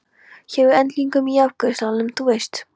Hjá englinum í afgreiðslusalnum, þú veist.